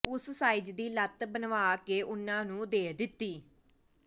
ਉਸ ਸਾਈਜ਼ ਦੀ ਲੱਤ ਬਣਵਾ ਕੇ ਉਨ੍ਹਾਂ ਨੂੰ ਦੇ ਦਿੱਤੀ